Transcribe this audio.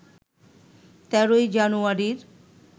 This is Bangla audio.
১৩ জানুয়ারির